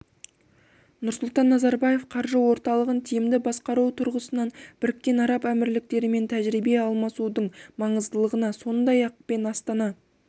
нұрсұлтан назарбаев қаржы орталығын тиімді басқару тұрғысынан біріккен араб әмірліктерімен тәжірибе алмасудың маңыздылығына сондай-ақ пен астана